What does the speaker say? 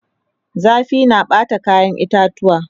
zafi na Bata kayan itatuwa